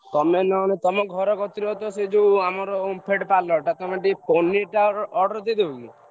ତମେ ନହେଲେ ତଆମ ଘର ପାଖରେ ସେ omfed parlour ଟା ପନୀର୍ ଟା order ଦେଇଦବ କି?